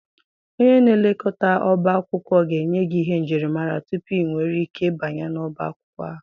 Onye na-elekọta ọbá akwụkwọ ga-enye gị ihe njirimara tupu ị nwere ike banye n'ọbá akwụkwọ ahụ.